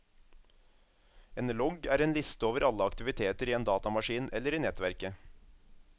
En logg er en liste over alle aktiviteter i en datamaskin eller i nettverket.